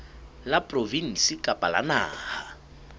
la provinse kapa la naha